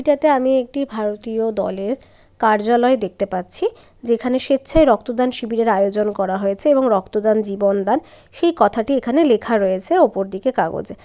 এটাতে আমি একটি ভারতীয় দলের কার্যালয় দেখতে পাচ্ছি যেখানে স্বেচ্ছায় রক্তদান শিবিরের আয়োজন করা হয়েছে এবং রক্তদান জীবন দান সেই কথাটি এখানে লেখা রয়েছে উপর দিকে কাগজে।